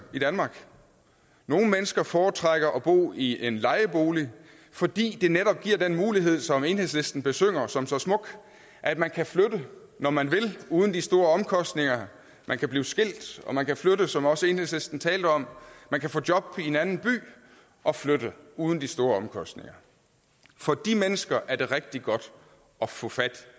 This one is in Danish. i danmark nogle mennesker foretrækker at bo i en lejebolig fordi det netop giver den mulighed som enhedslisten besynger som så smuk at man kan flytte når man vil uden de store omkostninger man kan blive skilt og man kan flytte som også enhedslisten talte om man kan få job i en anden by og flytte uden de store omkostninger for de mennesker er det rigtig godt at få fat